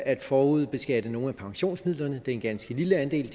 forudbeskatte nogle af pensionsmidlerne det er en ganske lille andel og